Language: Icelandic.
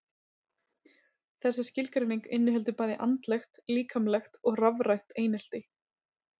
Þessi skilgreining inniheldur bæði andlegt, líkamlegt og rafrænt einelti.